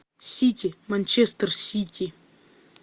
сити манчестер сити